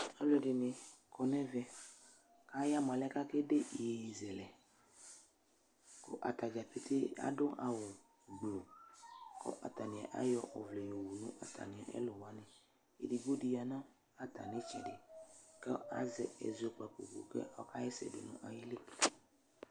Aaluɛɖini kɔ nʋ ɛvɛ k'ayamoa alɛnɛ k'akeɖe iyeye zɛlɛKʋ atadzapetee aɖʋ awu gbluukʋ atani ayɔ ɔvlɛ yɔwu atamiɛ kʋ wuaniƐɖigbodi yaa n'atami tsɛɖi kʋ azɛ ɛzɔkpako kʋ ɔka ɣɛsɛɖʋ ayiili